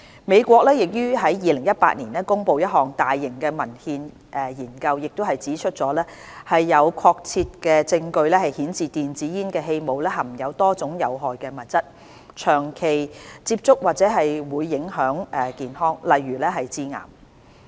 美國於2018年公布的一項大型文獻研究已指出有確切證據顯示電子煙的氣霧含有多種有害物質，長期接觸或會影響健康，例如致癌。